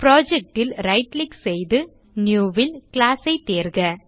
project ல் right click செய்து New ல் Class ஐ தேர்க